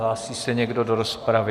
Hlásí se někdo do rozpravy?